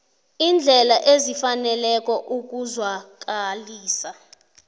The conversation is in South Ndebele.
iindlela ezifaneleko ukuzwakalisa